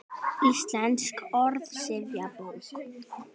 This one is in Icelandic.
Íslensk orðsifjabók.